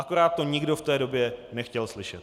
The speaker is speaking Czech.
Akorát to nikdo v té době nechtěl slyšet.